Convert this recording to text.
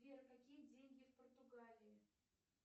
сбер какие деньги в португалии